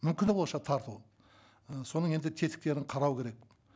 мүмкіні болғанша тарту ы соның енді тетіктерін қарау керек